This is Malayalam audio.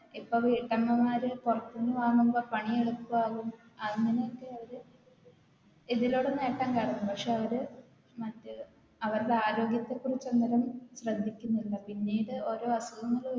ഇപ്പം വീട്ടമ്മ മാര് പൊറത്തൂന്ന് വാങ്ങുമ്പോ പണി എളുപ്പാകും അങ്ങനൊക്കെ ഒര് ഇതിലൂടെ നേട്ടം കാണും പക്ഷെ അവര് മറ്റേ അവരുടെ ആരോഗ്യത്തെക്കുറിച്ച് ഒന്നിനും ശ്രദ്ധിക്കുന്നില്ല പിന്നീട് ഓരോ അസുഖങ്ങള്